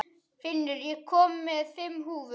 Finnur, ég kom með fimm húfur!